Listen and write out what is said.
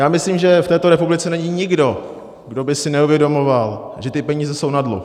Já myslím, že v této republice není nikdo, kdo by si neuvědomoval, že ty peníze jsou na dluh.